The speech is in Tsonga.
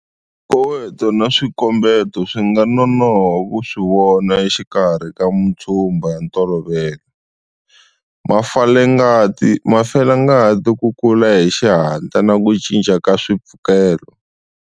Swikoweto na swikombeto swi nga nonoha ku swi vona exikarhi ka matshumba ya ntolovelo, mafelangati, ku kula hi xihatla na ku cinca ka swipfukela.